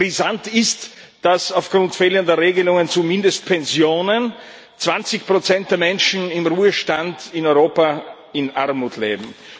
Brisant ist, dass aufgrund fehlender Regelungen zu Mindestpensionen 20 der Menschen im Ruhestand in Europa in Armut leben.